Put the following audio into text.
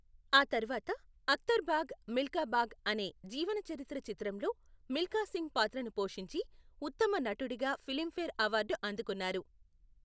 ఆ తర్వాత అక్తర్ భాగ్ మిల్కా భాగ్ అనే జీవన చరిత్ర చిత్రంలో మిల్కా సింగ్ పాత్రను పోషించి, ఉత్తమ నటుడిగా ఫిలింఫేర్ అవార్డు అందుకున్నారు.